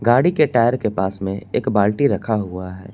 गाड़ी के टायर के पास में एक बाल्टी रखा हुआ है।